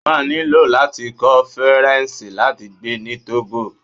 ó máa ní láti kọ́ Faransé láti gbé ní Togo.